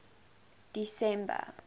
december